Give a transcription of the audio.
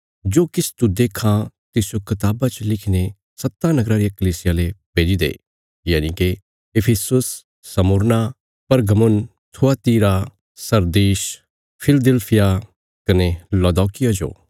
जो किछ तू देक्खां तिसजो कताबा च लिखीने सत्तां नगराँ रियां कलीसियां ले भेजी दे यनिके Ephesus Smyrna Pergamum Thyatira Sardis Philadelphia कने लौदीकिया जो